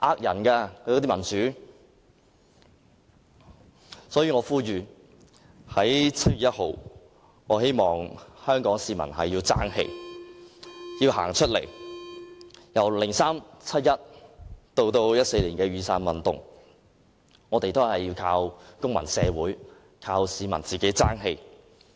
因此，我呼籲在7月1日，香港市民要爭氣，要走出來，由2003年的七一大遊行到2014年的雨傘運動，我們都是靠公民社會，靠市民爭氣。